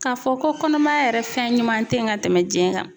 K'a fɔ ko kɔnɔmaya yɛrɛ fɛn ɲuman tɛ yen ka tɛmɛ jɛn kan!